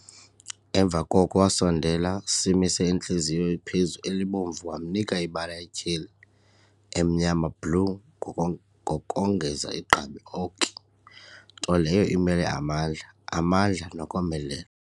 Emva koko wasondela simise intliziyo phezu elibomvu wamnika imibala etyheli emnyama blue goko ngokongeza igqabi oki, nto leyo imele amandla, amandla nokomelela.